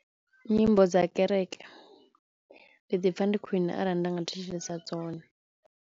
Nyimbo dza kereke ndi ḓipfha ndi khwiṋe arali nda nga thetshelesa dzone.